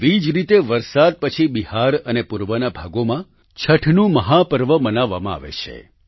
તેવી જ રીતે વરસાદ પછી બિહાર અને પૂર્વના ભાગોમાં છઠનું મહાપર્વ મનાવવામાં આવે છે